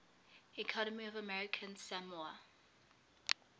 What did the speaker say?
economy of american samoa